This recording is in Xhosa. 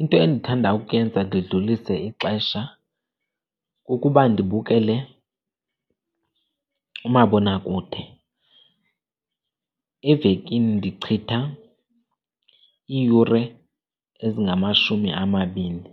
Into endithanda ukuyenza ndidlulise ixesha kukuba ndibukele umabonakude, evekini ndichitha iiyure ezingamashumi amabini